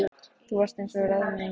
Þú varst eins og rauðmagi, sagði Bill.